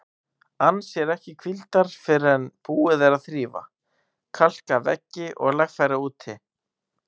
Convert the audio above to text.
Ann sér ekki hvíldar fyrr en búið er að þrífa, kalka veggi og lagfæra úti.